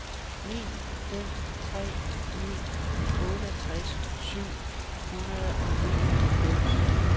ni fem tre ni otteogtres syv hundrede og nioghalvfems